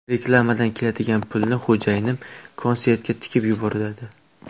Reklamadan keladigan pulni xo‘jayinim konsertga tikib yuboradi.